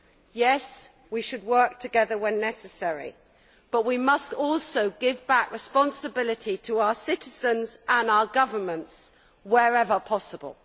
Yes, we should work together when necessary, but we must also give back responsibility to our citizens and our governments wherever possible.